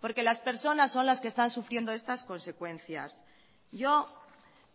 porque las personas son las que están sufriendo estas consecuencias yo